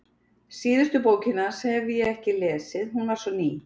Síðustu bókina hans hafði ég ekki lesið, hún var svo ný.